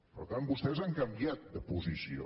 per tant vostès han canviat de posició